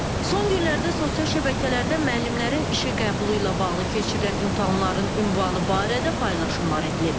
Son günlərdə sosial şəbəkələrdə müəllimlərin işə qəbulu ilə bağlı keçirilən imtahanların ünvanı barədə paylaşımlar edilir.